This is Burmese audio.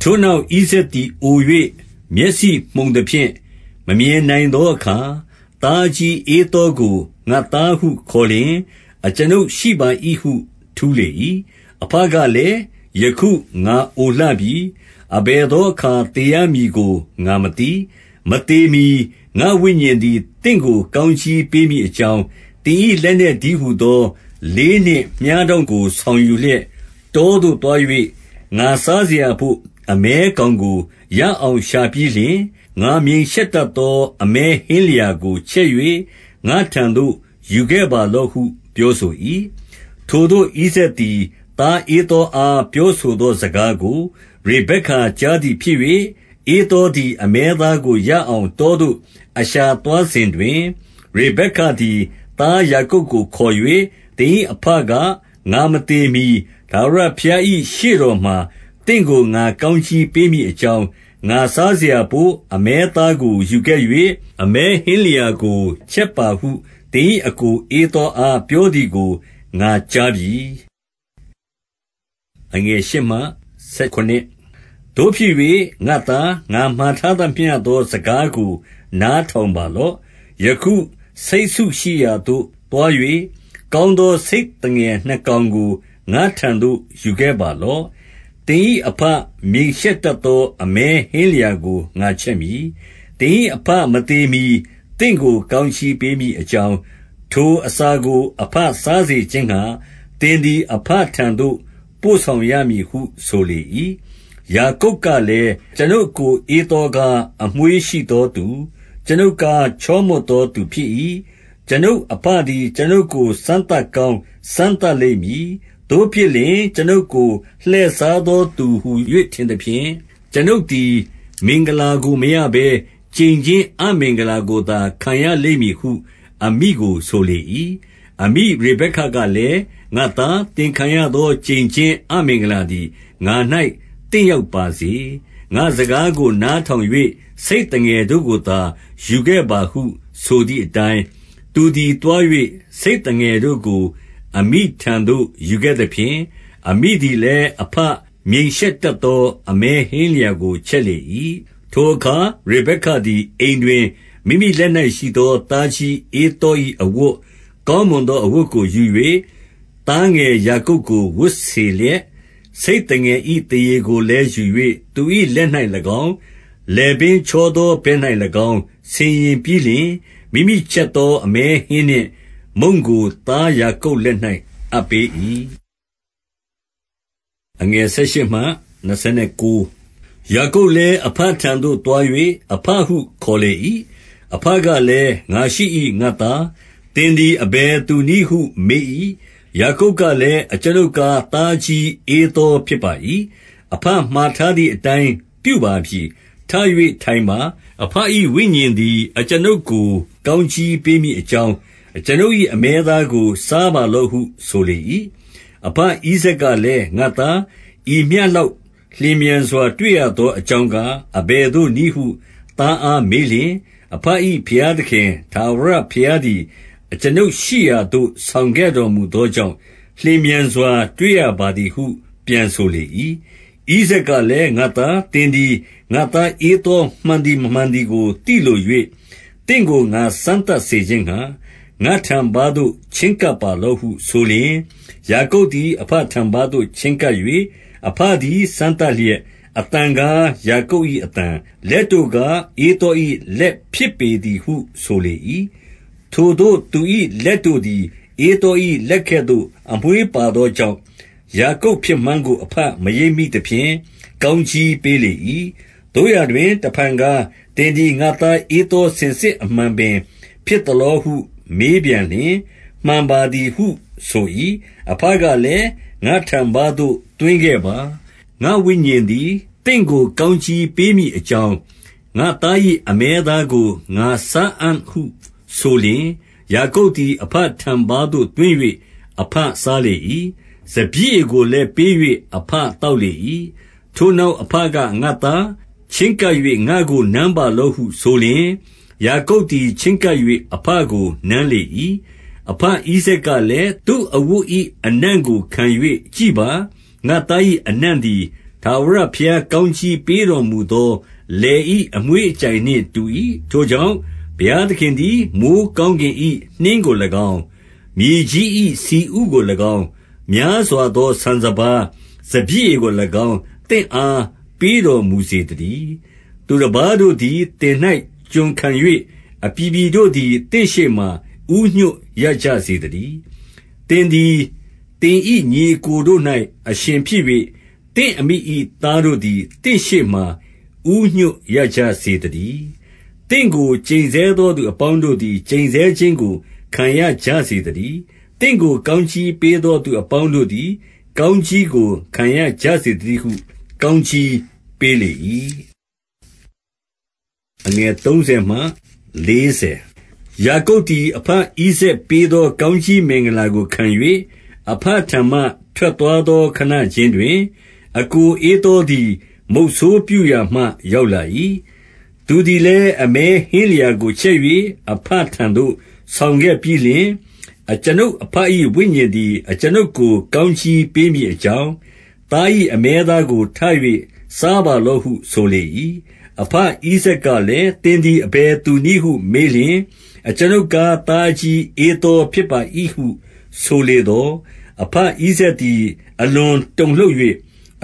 ထိုနောက် ဣဇာက်သည် အို၍ မျက်စိမှုန်သဖြင့် မမြင်နိုင်သောအခါ၊ သားအကြီးဧသောကို၊ ငါ့သားဟု ခေါ်လျှင်၊ အကျွန်ုပ်ရှိပါ၏ဟု ထူးလေ၏။ 2 အဘကလည်း၊ ယခုငါအိုလှပြီ။ အဘယ်သော အခါ သေရမည်ကို ငါမသိ။ 3 မသေမှီ ငါ့ဝိညာဉ်သည် သင့်ကို ကောင်းကြီး ပေးမည်အကြောင်း၊ သင်၏လက်နက်တည်းဟူသော လေးနှင့်မြှားတောင့်ကို ဆောင်ယူလျက် တောသို့သွား၍၊ ငါစားစရာဘို့ အမဲကောင်ကို ရအောင်ရှာပြီးလျှင်၊ 4 ငါမြိန်ရှက်တတ်သော အမဲဟင်းလျာကို ချက်၍ ငါ့ထံသို့ ယူခဲ့ပါလော့ဟု ပြောဆို၏။ 5 ထိုသို့ ဣဇာက်သည် သားဧသောအား ပြောဆို သောစကားကို၊ ရေဗက္ကကြားသည်ဖြစ်၍၊ ဧသောသည် အမဲသားကို ရအောင်တောသို့ အရှာသွားစဉ်တွင်၊ 6 ရေဗက္ကသည် သားယာကုပ်ကို ခေါ်၍၊ 7 သင်၏အဘက၊ ငါမသေမှီ ထာဝရဘုရား၏ ရှေ့တော်မှာ သင့်ကို ငါကောင်းကြီးပေးမည်အကြောင်း၊ ငါစားစရာဘို့ အမဲသားကို ယူခဲ့၍၊ အမဲဟင်းလျာကို ချက်ပါဟု သင်၏အစ်ကို ဧသောအား ပြောသည်ကို ငါကြား ပြီ။ 8 သို့ဖြစ်၍ ငါ့သား၊ ငါမှာထားသမျှသော စကားကို နားထောင်ပါ လော့။ 9 ယခုဆိတ်စုရှိရာသို့ သွား၍၊ ကောင်းသော ဆိတ် သငယ်နှစ်ကောင်ကို ငါ့ထံသို့ယူခဲ့ပါလော့။ သင်၏အဘ မြိန်ရှက်တတ်သော အမဲဟင်းလျာကို ငါချက်မည်။ 10 သင်၏အဘမသေမှီ သင့်ကို ကောင်းကြီးပေး မည်အကြောင်း၊ ထိုအစာကို အဘစားစေခြင်းငှါ သင် သည် အဘထံသို့ပို့ဆောင်ရမည်ဟု ဆိုလေ၏။ 11 ယာကုပ်ကလည်း၊ ကျွန်ုပ်အစ်ကို ဧသောကား အမွေးရှိသောသူ၊ ကျွန်ုပ်ကားချောမွှတ်သောသူ ဖြစ်၏။ 12 ကျွန်ုပ်အဘသည် ကျွန်ုပ်ကို စမ်းသပ်ကောင်း စမ်းသပ်လိမ့်မည်။ သို့ဖြစ်လျှင် ကျွန်ုပ်ကိုလှည့်စားသော သူဟူ၍ ထင်သဖြင့်၊ ကျွန်ုပ်သည် မင်္ဂလာကိုမရဘဲ ကျိန်ခြင်းအမင်္ဂလာကိုသာ ခံရလိမ့်မည်ဟု အမိကိုဆို လေ၏။ 13 အမိရေက္ကေကလည်း၊ ငါ့သား၊ သင်ခံရသော ကျိန်ခြင်းအမင်္ဂလာသည် ငါ၌သင့်ရောက်ပါစေ။ ငါ့စကား ကို နားထောင်၍ ဆိတ်သငယ်တို့ကိုသာ ယူခဲ့ပါဟု ဆိုသည်အတိုင်း၊ 14 သူသည် သွား၍ ဆိတ်သငယ်တို့ကို အမိထံသို့ ယူခဲ့သဖြင့်၊ အမိသည်လည်း အဘမြိန်ရှက်တတ်သော အမဲဟင်းလျာကို ချက်လေ၏။ 15 ထိုအခါ ရေဗက္ကသည် အိမ်တွင် မိမိလက်၌ ရှိသော သားကြီးဧသော၏အဝတ်၊ ကောင်းမွန်သော အဝတ်ကိုယူ၍၊ သားငယ်ယာကုပ်ကို ဝတ်စေလျက်၊ 16 ဆိတ်သငယ်၏ သားရေကိုလည်းယူ၍ သူ၏ လက်၌၎င်း၊ လည်ပင်ချောသော ဘက်၌၎င်း ဆင်ယင်ပြီး လျှင်၊ 17 မိမိချက်သော အမဲဟင်းနှင့် မုန့်ကိုသားယာကုပ် လက်၌အပ်ပေး၏။ 18 ယာကုပ်လည်း အဘထံသို့ သွား၍၊ အဘဟု ခေါ်လေ၏။ အဘကလည်း၊ ငါရှိ၏ငါ့သား။ သင်သည် အဘယ်သူနည်းဟု မေး၏။ 19 ယာကုပ်ကလည်း၊ အကျွန်ုပ်ကား သားအကြီး ဧသောဖြစ်ပါ၏။ အဘမှာထားသည်အတိုင်းပြုပါပြီ။ ထ၍ထိုင်ပါ။ အဘ၏ဝိညာဉ်သည် အကျွန်ုပ်ကို ကောင်း ကြီးပေးမည်အကြောင်း၊ အကျွန်ုပ်၏အမဲသားကို စား ပါလော့ဟု ဆိုလေ၏။ 20 အဘဣဇာက်ကလည်း၊ ငါ့သား၊ ဤမျှလောက် လျင်မြန်စွာတွေ့ရသောအကြောင်းကား၊ အဘယ်သို့နည်း ဟု သားအားမေးလျှင်၊ အဘ၏ ဘုရားသခင် ထာဝရ ဘုရားသည် အကျွန်ုပ်ရှိရာသို့ ဆောင်ခဲ့တော်မူသော ကြောင့်၊ လျင်မြန်စွာတွေ့ရပါသည်ဟု ပြန်ဆိုလေ၏။ 21 ဣဇာက်ကလည်း၊ ငါ့သား၊ သင်သည် ငါ့သား ဧသောမှန်သည် မမှန်သည်ကိုသိလို၍၊ သင့်ကို ငါစမ်း သပ်စေခြင်းငှါ၊ ငါ့ထံပါးသို့ချဉ်းကပ်ပါလော့ဟုဆိုလျှင်၊ 22 ယာကုပ်သည် အဘထံပါးသို့ချဉ်းကပ်၍၊ အဘ သည် စမ်းသပ်လျက်၊ အသံကား ယာကုပ်၏အသံ၊ လက်တို့ကား ဧသော၏လက်ဖြစ်ပေသည်ဟု ဆိုလေ၏။ 23 ထိုသို့သူ၏ လက်တို့သည် ဧသော၏လက်ကဲ့သို့ အမွေးပါသောကြောင့်၊ ယာကုပ်ဖြစ်မှန်းကို အဘမရိပ်မိ သဖြင့်၊ ကောင်းကြီးပေးလေ၏။ 24 သို့ရာတွင် တဖန်ကား၊ သင်သည် ငါ့သားဧသော စင်စစ်အမှန်ပင် ဖြစ်သလောဟု မေးပြန်လျင်၊ မှန်ပါ သည်ဟု ဆို၏။ 25 အဘကလည်း၊ ငါ့ထံပါးသို့ သွင်းခဲ့ပါ။ ငါ့ဝိညာဉ်သည် သင့်ကို ကောင်းကြီးပေးမည်အကြောင်း၊ ငါ့သား၏ အမဲသားကို ငါစားအံ့ဟုဆိုလျှင်၊ ယာကုပ်သည် အဘထံပါးသို့ သွင်း၍၊ အဘစားလေ၏။ စပျစ်ရည်ကို လည်း ပေး၍ အဘသောက်လေ၏။ 26 ထိုနောက် အဘက၊ ငါ့သားချဉ်းကပ်၍ ငါ့ကို နမ်းပါလော့ဟု ဆိုလျှင်၊ ယာကုပ်သည် ချဉ်းကပ်၍ အဘ ကို နမ်းလေ၏။ 27 အဘဣဇာက်ကလည်း၊ သူ့အဝတ်၏ အနံ့ကို ခံ၍ကြည့်ပါ။ ငါ့သား၏အနံ့သည်၊ ထာဝရဘုရား ကောင်းကြီးပေးတော်မူသော လယ်၏အမွှေးအကြိုင်နှင့် တူ၏။ 28 ထိုကြောင့် ဘုရားသခင်ပင် မိုယ်းကောင်းကင် နှင့်ကို၎င်း၊ မြေကြီး၏ဆီဥကို၎င်း၊ များစွာသော ဆန်စပါး၊ စပျစ်ရည်ကို၎င်း၊ သင့်အား ပေးတော်မူစေသတည်း။ 29 သူတပါးတို့သည် သင်၌ကျွန်ခံ၍၊ အပြည်ပြည် တို့သည် သင့်ရှေ့မှာ ဦးညွှတ်ကြရစေသတည်း။ သင်သည် သင်၏ညီအစ်ကိုတို့၌ အရှင်ဖြစ်၍၊ သင့်အမိသားတို့သည် သင့်ရှေ့မှာ ဦးညွှတ်ရကြစေသတည်း။ သင့်ကို ကျိန်ဆဲ သောသူအပေါင်းတို့သည် ကျိတ်ဆဲခြင်းကို ခံရကြစေ သတည်း။ သင့်ကို ကောင်းကြီးပေးသောသူအပေါင်းတို့ သည် ကောင်းကြီးကို ခံရကြစေသတည်းဟု ကောင်းကြီး ပေးလေ၏။ 30 ယာကုပ်သည်၊ အဘဣဇာက်ပေးသော ကောင်း ကြီးမင်္ဂလာကို ခံ၍၊ အဘထံမှ ထွက်သွားသော ခဏခြင်း တွင်၊ အစ်ကိုဧသောသည် မုဆိုးပြုရာမှ ရောက်လာ၏။ 31 သူသည်လည်း အမဲဟင်းလျာကို ချက်၍ အဘ ထံသို့ ဆောင်ခဲ့ပြီးလျှင်၊ အကျွန်ုပ်အဘ၏ဝိညာဉ်သည်၊ အကျွန်ုပ်ကိုကောင်းကြီးပေးမည်အကြောင်း၊ သား၏ အမဲသားကို ထ၍စားပါလော့ဟုဆိုလေ၏။ 32 အဘဣဇာက်ကလည်း၊ သင်သည် အဘယ်သူ နည်းဟု မေးလျှင်၊ အကျွန်ုပ်ကား သားအကြီး ဧသော ဖြစ်ပါ၏ဟု ဆိုလေသော်၊ အဘဣဇာက်သည် အလွန် တုန်လှုပ်၍